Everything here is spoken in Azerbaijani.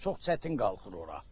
Çox çətin qalxır ora.